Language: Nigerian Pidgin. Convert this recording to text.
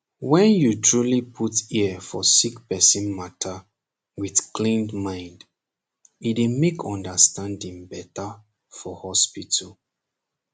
wen you truly put ear for sick person mata wit clean mind e dey mak understanding beta for hospital